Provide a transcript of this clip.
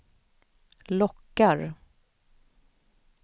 lockar